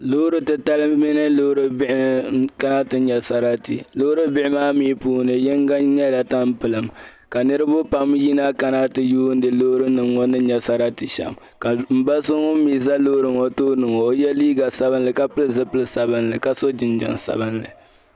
Loori titali mini loori bihi nkana ti nya sarati. loori bihi maa mi puuni. yiŋga nyɛla taampilim kanirib. pam yina kana ti yuuni loorinimŋɔ ni nya. sarati shɛm. ka mba so ŋun mi zɛ loori ŋɔ tooni ŋɔ ka o ye liiga sabinli. ka so jinjam sabinli.